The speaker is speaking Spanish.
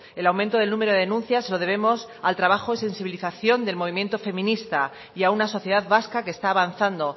el aumento del número de denuncias se lo debemos al trabajo y sensibilización del movimiento feminista y a una sociedad vasca que está avanzando